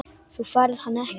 Þú færð hann ekki.